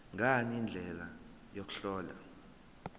ngani indlela yokuhlola